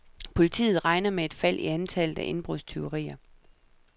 Politiet regner med et fald i antallet af indbrudstyverier.